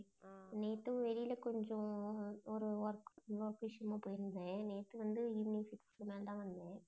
நேத்து வெளில கொஞ்சம் ஓரு work work விஷயமா போயிருந்தேன். நேத்து வந்து evening six க்கு மேல தான் வந்தேன்.